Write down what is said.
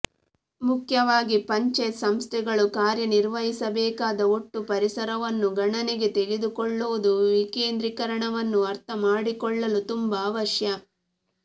ಮುಖ್ಯವಾಗಿ ಪಂಚಾಯತ್ಸಂಸ್ಥೆಗಳು ಕಾರ್ಯ ನಿರ್ವಹಿಸಬೇಕಾದ ಒಟ್ಟು ಪರಿಸರವನ್ನು ಗಣನೆಗೆ ತೆಗೆದುಕೊಳ್ಳುವುದು ವಿಕೇಂದ್ರೀಕರಣವನ್ನು ಅರ್ಥಮಾಡಿಕೊಳ್ಳಲು ತುಂಬಾ ಅವಶ್ಯ